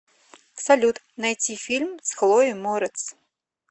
салют найти фильм с хлоей морец